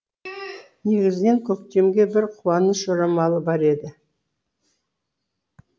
негізінен көктемге бір қуаныш жорамалы бар еді